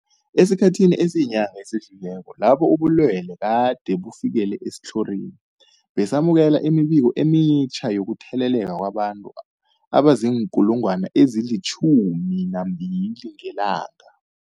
Esikhathini esiyinyanga esidlulileko lapho ubulwele gade bufikelele esitlhorini, besamukela imibiko emitjha yokutheleleka kwabantu abazii-12 000 ngelanga.